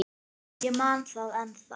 Ég man það ennþá.